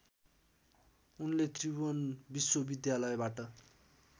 उनले त्रिभुवन विश्वविद्यालयबाट